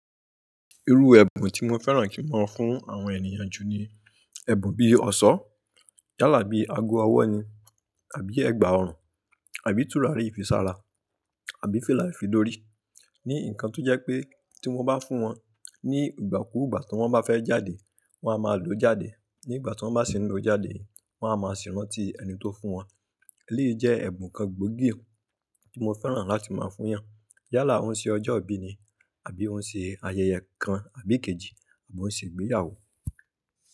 Irú ẹ̀bùn tí mo fẹ́ràn kí n máa fún àwọn ènìyàn ju ni ẹ̀bùn bí i ọ̀ṣọ́ yálà bí i ago ọwọ́ ni àbí ẹ̀gbà ọrùn àbí tùràrí ìfisára àbí fìlà ìfidórí. Ni nǹkan tó jẹ́ pé tí wọ́n bá fún wọn ní ìgbà kúù gbà tí wọ́n bá fẹ́ jáde, wọ́n a máa lòó jáde. Ní ìgbà tí wọ́n bá sì n lóó jáde, wọ́n a máa sì rántí ẹni tó fún wọn. Èléyìí jẹ́ ẹ̀bùn kan gbóògì tí mo fẹ́ràn láti máa fún yàn. Yálà ó ń ṣe ọjọ́ ìbí ni àbí ó ń ṣe ayẹyẹ kan àbí kejì àbí ó ń ṣe ìgbéyàwó.